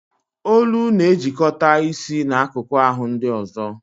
Olu na-ejikọta isi na akụkụ ahụ ndị ọzọ